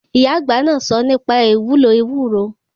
Ìyá àgbà náà sọ nípa ìwúlò ewúro.